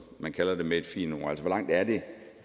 man kalder det med et fint ord altså hvor langt er det